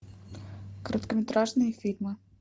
короткометражные фильмы